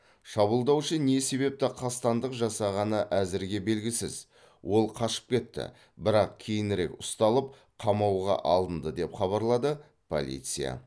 шабуылдаушы не себепті қастандық жасағаны әзірге белгісіз ол қашып кетті бірақ кейінірек ұсталып қамауға алынды деп хабарлады полиция